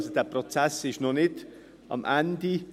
Dieser Prozess ist also noch nicht am Ende angelangt.